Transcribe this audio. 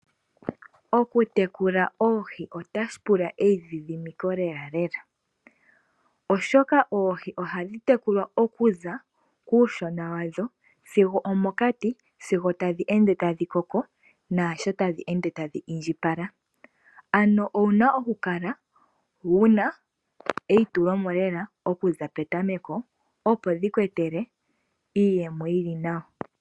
Okutekula oohi otaku pula eidhidhimiko lela, oshoka oohi ohadhi tekulwa okuza puushona wadho sigo omokati sigo tadhi ende tadhi koko naashi tadhi ende tadhi indjipala. Owu na okukala wu na eitule mo lela okuza petameko, opo dhi ku etele iiyemo yi li nawa.